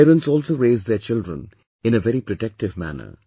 Parents also raise their children in a very protective manner